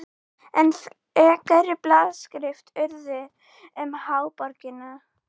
Enn frekari blaðaskrif urðu um háborgina.